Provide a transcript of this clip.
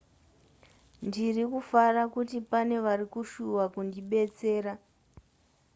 ndiri kufara kuti pane vari kushuva kundibetsera